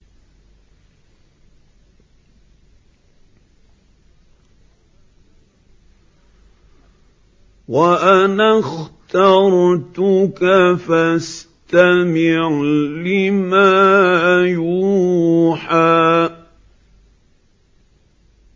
وَأَنَا اخْتَرْتُكَ فَاسْتَمِعْ لِمَا يُوحَىٰ